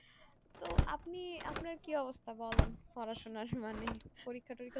তো আপনি আপনার কি অবস্থা বলেন পড়াশোনার মানে পরীক্ষা তরীক্ষা